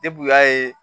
Depi u y'a ye